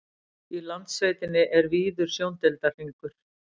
í landsveitinni er víður sjóndeildarhringur